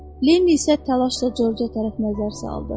Lenin isə təlaşla Corca tərəf nəzər saldı.